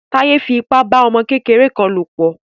Táyé fi ipa bá ọmọ kékeré kan lò pọ̀.